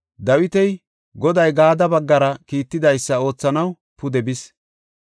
Dawiti, Goday Gaade baggara kiittidaysada oothanaw pude bis.